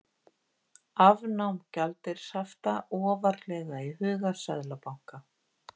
Afnám gjaldeyrishafta ofarlega í huga seðlabanka